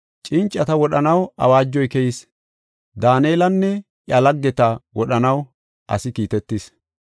Cincata wodhanaw awaajoy keyis; Daanelanne iya laggeta wodhanaw asi kiitetis.